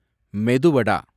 மெது வட